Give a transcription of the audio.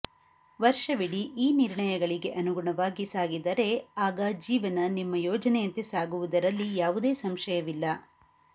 ವರ್ಷವಿಡಿ ಈ ನಿರ್ಣಯಗಳಿಗೆ ಅನುಗುಣವಾಗಿ ಸಾಗಿದರೆ ಆಗ ಜೀವನ ನಿಮ್ಮ ಯೋಜನೆಯಂತೆ ಸಾಗುವುದರಲ್ಲಿ ಯಾವುದೇ ಸಂಶಯವಿಲ್ಲ